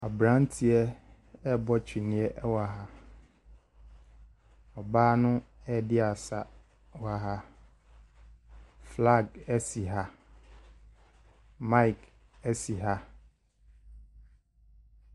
Aberanteɛ rebɔ twene wɔ ha. Ɔbaa no redi asa wɔ ha. Flag si ha. Mic si ha.